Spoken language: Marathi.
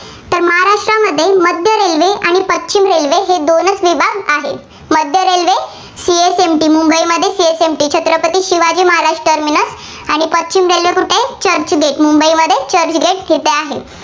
आहेत. मध्य railway सीएसएमटी मुंबईमध्ये सीएसएमटी छत्रपती शिवाजी महाराज टर्मिनस आणि पश्चिम railway कुठं आहे, चर्चगेट. मुंबईमध्ये चर्चगेट येथे आहे.